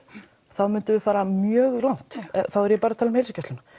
þá myndum við fara mjög langt þá er ég bara að tala um heilsugæsluna